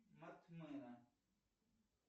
мат мэна